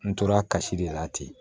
N tora kasi de la ten